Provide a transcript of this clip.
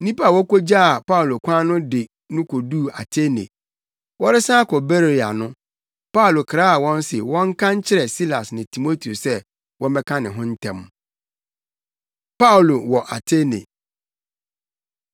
Nnipa a wokogyaa Paulo kwan no de no koduu Atene. Wɔresan akɔ Beroia no, Paulo kraa wɔn se wɔnka nkyerɛ Silas ne Timoteo sɛ wɔmmɛka ne ho ntɛm. Paulo Wɔ Atene